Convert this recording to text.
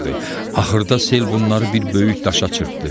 Axırda sel bunları bir böyük daşa çırpdı.